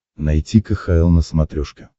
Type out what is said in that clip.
найти кхл на смотрешке